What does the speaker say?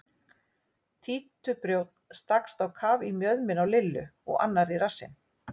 Títuprjónn stakkst á kaf í mjöðmina á Lillu og annar í rassinn.